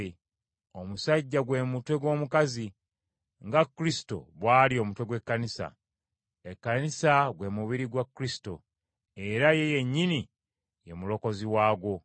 Omusajja gwe mutwe gw’omukazi, nga Kristo bw’ali omutwe gw’Ekkanisa. Ekkanisa gwe mubiri gwa Kristo, era ye yennyini ye Mulokozi waagwo.